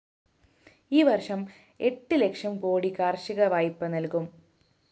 ഈ വര്‍ഷം എട്ട് ലക്ഷം കോടി കാര്‍ഷിക വായ്പ നല്‍കും